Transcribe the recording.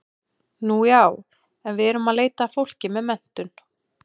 Nú já, en við erum að leita að fólki með menntun.